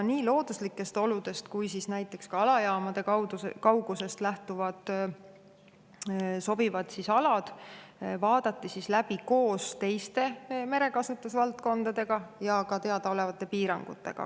Nii looduslikest oludest kui ka näiteks alajaamade kaugusest lähtuvad sobivad alad vaadati läbi koos teiste merekasutusvaldkondadega ja ka teadaolevate piirangutega.